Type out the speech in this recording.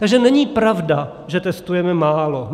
Takže není pravda, že testujeme málo.